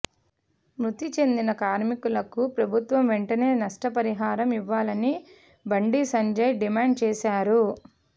మృతి చెందిన కార్మికులకు ప్రభుత్వం వెంటనే నష్టపరిహారం ఇవ్వాలని బండి సంజయ్ డిమాండ్ చేశారు